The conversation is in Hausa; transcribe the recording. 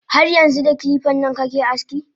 Har yanxu da kilipan nan kake aski?